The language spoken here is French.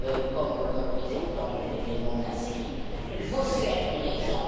comme le représentant des non inscrits. Il faut se faire une raison.